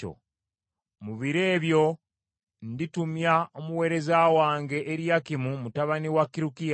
“Mu biro ebyo nditumya omuweereza wange Eriyakimu mutabani wa Kirukiya.